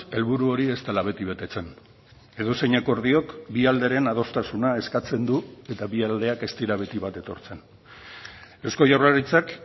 helburu hori ez dela beti betetzen edozein akordiok bi alderen adostasuna eskatzen du eta bi aldeak ez dira beti bat etortzen eusko jaurlaritzak